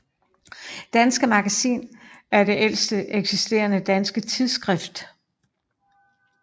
Danske Magazin er det ældste eksisterende danske tidsskrift